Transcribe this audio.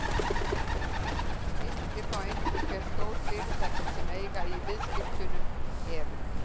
Skiptir þá engu hve stór fyrirtækin sem eiga í viðskiptunum eru.